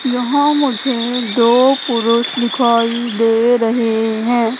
यहां मुझे दो पुरुष दिखाई दे रहे है।